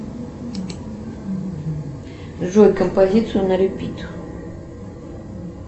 джой композицию на репит